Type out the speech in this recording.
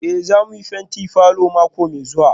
Eh za mu fenti falor mako mai zuwa